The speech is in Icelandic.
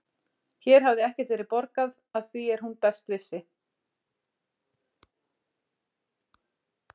Hér hafði ekkert verið borgað að því er hún best vissi.